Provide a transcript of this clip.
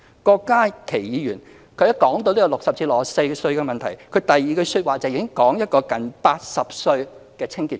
郭家麒議員說到60歲至64歲的問題時，第二句說話已在談一個年近80歲的清潔工。